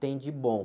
Tem de bom.